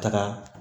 Taga